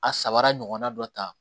A sabara ɲɔgɔnna dɔ ta